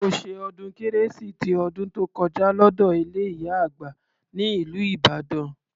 Mo ṣe ọdún kérésì ti ọdún tó kọjá lọ́dọ ilé ìyá àgbà ní ìlú Ìbàdàn.